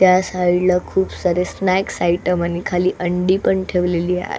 त्या साइड ला खूप सारे स्नैक्स आइटम आणि खाली अंडी पण ठेवलेली आ --